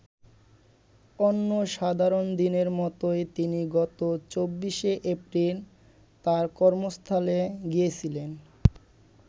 অন্য সাধারণ দিনের মতোই তিনি গত ২৪শে এপ্রিল তাঁর কর্মস্থলে গিয়েছিলেন।